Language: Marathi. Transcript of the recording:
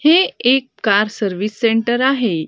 हे एक कार सर्विस सेंटर आहे.